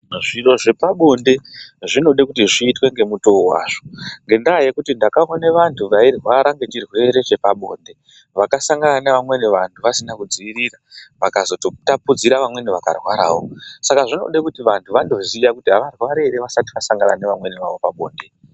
Zviro zvepabonde zvonode kuti zviitwe ngemutoo wazvo ngendaa yekuti ndakaone vanhu vairwara ngechirwere chepabonde vakasangana nevamweni vanhu vasina kudziirira vakazototapudzire vamweni vakatozorwarawo saka zvinode kuziya kuti vanhu avarwari ere vasati vasati vasangana nevamweni vavo pabonde.